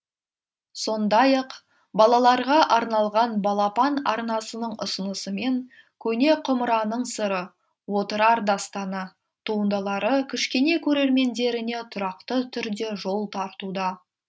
сондай ақ балаларға арналған балапан арнасының ұсынысымен көне құмыраның сыры отырар дастаны туындылары кішкене көрермендеріне тұрақты түрде жол тартуда